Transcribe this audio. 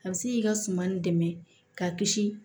A bɛ se k'i ka suman nin dɛmɛ k'a kisi